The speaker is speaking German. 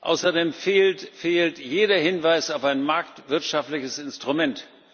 Außerdem fehlt jeder Hinweis auf ein marktwirtschaftliches Instrument.